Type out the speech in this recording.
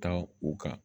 Kan u ka